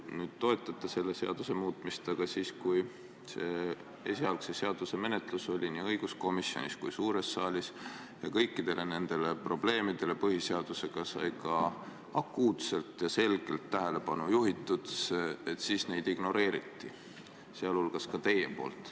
Nüüd te toetate selle seaduse muutmist, aga kui selle esialgse eelnõu menetlus oli nii õiguskomisjonis kui suures saalis ja kui kõikidele nendele probleemidele põhiseaduse vaatevinklist sai akuutselt ja selgelt tähelepanu juhitud, siis neid ignoreeriti, sealhulgas ka teie poolt.